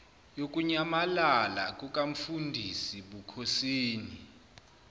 yokunyamalala kukamfundisi bukhosini